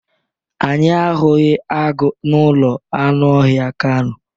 Anyị ahụghị agụ n'ụlọ anụ ọhịa kano.